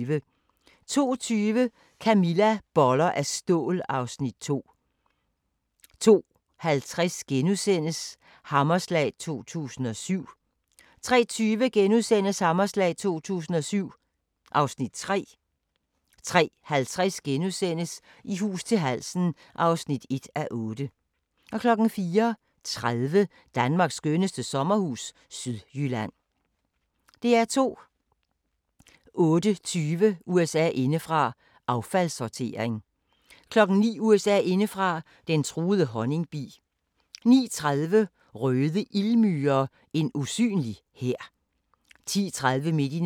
16:00: Felix og vagabonden (2:8)* 16:30: Luder eller lommepenge * 17:30: Den amerikanske mafia: Lucky Luciano (1:8)* 18:10: Husker du ... 1992 19:00: Felix og vagabonden (3:8) 19:30: Felix og vagabonden (4:8) 20:00: Når kvinder dræber - Rebacca Fenton 20:45: Dokumania: Jagten på en morder 23:00: Hemmelige amerikanske missioner (2:8) 23:45: Den amerikanske mafia: Den første krig (2:8)